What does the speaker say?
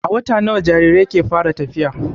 A wata nawa jarirai ke fara tafiya?